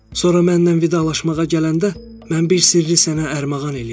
Sonra məndən vidalaşmağa gələndə mən bir sirri sənə ərmağan eləyəcəm.